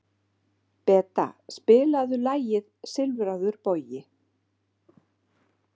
Beta, spilaðu lagið „Silfraður bogi“.